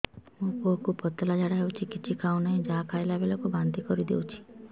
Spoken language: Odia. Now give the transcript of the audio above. ମୋ ପୁଅ କୁ ପତଳା ଝାଡ଼ା ହେଉଛି କିଛି ଖାଉ ନାହିଁ ଯାହା ଖାଇଲାବେଳକୁ ବାନ୍ତି କରି ଦେଉଛି